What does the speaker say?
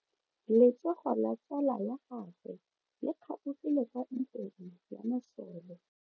Letsogo la tsala ya gagwe le kgaogile kwa ntweng ya masole.